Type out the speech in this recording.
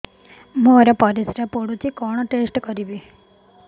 ମୋର ପରିସ୍ରା ପୋଡୁଛି କଣ ଟେଷ୍ଟ କରିବି